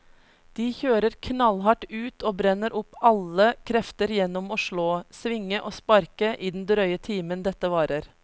De kjører knallhardt ut og brenner opp alle krefter gjennom å slå, svinge og sparke i den drøye timen dette varer.